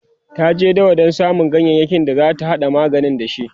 ta je dawa Dan samu ganyayaki da zata hada magani da shi